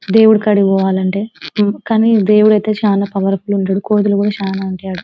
దేవుడి కాడికి పోవాలంటే కానీ దేవుడైతే చాలా పవర్ ఫుల్ ఉంటడు కోతులు కూడా చాలా ఉంటాయి ఆడ.